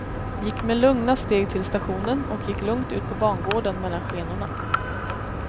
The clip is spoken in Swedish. Gick med lugna steg till stationen och gick lugnt ut på bangården mellan skenorna.